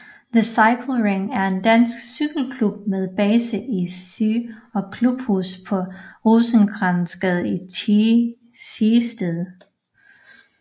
Thy Cykle Ring er en dansk cykelklub med base i Thy og klubhus på Rosenkrantzgade i Thisted